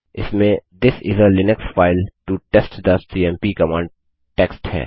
इसमें this is a Linux file to test the CMP command text है